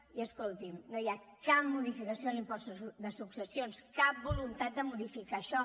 i escolti’m no hi ha cap modificació en l’impost de successions cap voluntat de modificar això